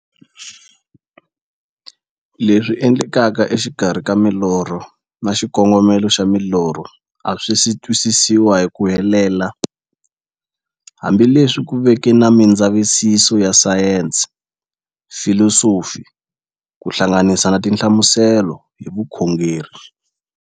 Leswi endlekaka e xikarhi ka milorho na xikongomelo xa milorho a swisi twisisiwa hi ku helela, hambi leswi ku veke na mindzavisiso ya sayensi, filosofi ku hlanganisa na tinhlamuselo hi vukhongori.